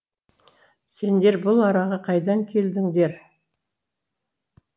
сендер бұл араға қайдан келдіңдер